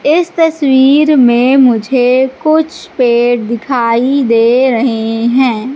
इस तस्वीर में मुझे कुछ पेड़ दिखाई दे रहे हैं।